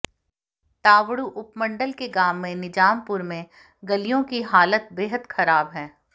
तावडू उपमंडल के गांव निजामपुर में गलियों की हालत बेहद खराब है